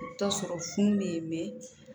I bɛ t'a sɔrɔ funu bɛ yen mɛ